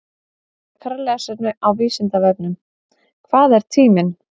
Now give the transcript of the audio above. Frekara lesefni á Vísindavefnum: Hvað er tíminn?